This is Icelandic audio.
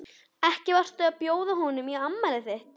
Ekki varstu að bjóða honum í afmælið þitt?